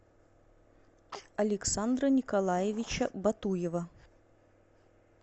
александра николаевича батуева